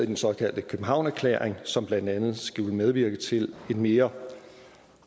den såkaldte københavn erklæring som blandt andet skulle medvirke til en mere